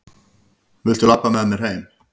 Viltu labba með mér heim!